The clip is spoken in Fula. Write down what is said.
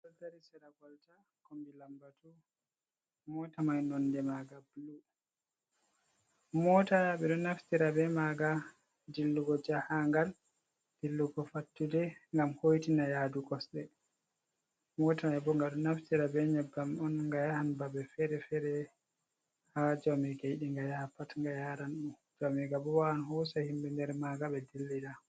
Mota, ɓe do naftira be maga dillugo jahagal ,dillugo fattude, gam hotina yaduu kosɗe ,mota mai bo gaɗo naftira be nyebbam on ga yahan babe fere-fere ha jaumiga yiɗi nga yaha pat, nga yaranmo, jaumigabo wawan hosa himɓe nder maga be dillida.